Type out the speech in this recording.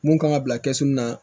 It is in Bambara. Mun kan ka bila kɛsu na